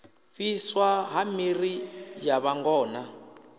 fhiswa ha miḓi ya vhangona